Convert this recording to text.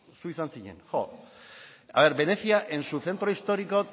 zu izan zinen jo haber venecia en su centro histórico